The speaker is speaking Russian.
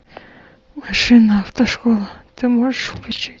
машина автошкола ты можешь включить